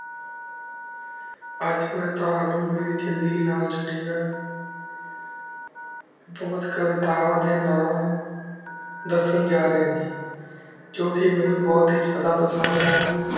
ਅੱਜ ਮੈਂ ਤੋਹਾਨੂ ਮੇਰੀ ਜਿੰਦਗੀ ਨਾਲ ਜੁੜੀਆਂ ਬਹੁਤ ਕਵਿਤਾਵਾਂ ਦੇ ਨਾ ਦੱਸਣ ਜਾ ਰਹੇ ਹਨ ਜੋ ਕਿ ਮੈਨੂੰ ਬਹੁਤ ਜ਼ਿਆਦਾ ਪਸੰਦ ਹੁਣ